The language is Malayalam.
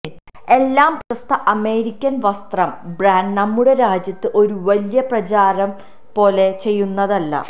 എല്ലാ പ്രശസ്ത അമേരിക്കൻ വസ്ത്രം ബ്രാൻഡ് നമ്മുടെ രാജ്യത്ത് ഒരു വലിയ പ്രചാരം പോലെ ചെയുന്നത് അല്ല